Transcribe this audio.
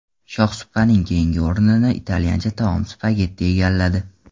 Shohsupaning keyingi o‘rnini italyancha taom spagetti egalladi.